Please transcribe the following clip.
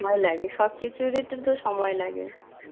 সময় লাগে, সব কিছুরই তো সময় লাগে.